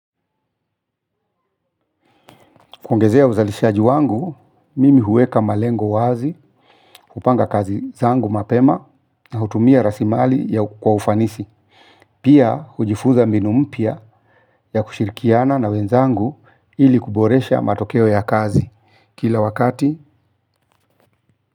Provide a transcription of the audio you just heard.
Kuongezea uzalishaji wangu, mimi huweka malengo wazi, hupanga kazi zangu mapema na hutumia rasilimali kwa ufanisi. Pia hujifuza mbinu mpya ya kushirikiana na wenzangu ili kuboresha matokeo ya kazi kila wakati.